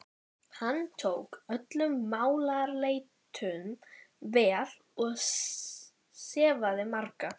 Hann tók öllum málaleitunum vel og sefaði marga.